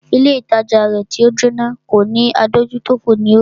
Ilé ìtajà rẹ̀ tí o Jóná kò ní adójútòfò lórí.